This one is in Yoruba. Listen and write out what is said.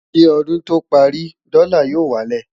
kí ọdún tó párí, dòla yó wà lẹ